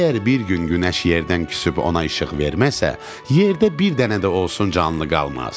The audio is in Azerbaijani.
Əgər bir gün günəş yerdən küsüb ona işıq verməsə, yerdə bir dənə də olsun canlı qalmaz.